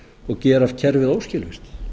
og gera allt kerfið óskilvirkt